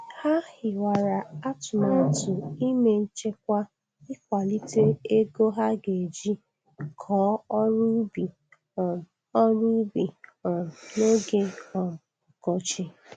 Ha hiwara atụmatụ ime nchekwa ikwalite ego ha ga-eji kọọ ọrụ ubi um ọrụ ubi um n'oge um ọkọchị.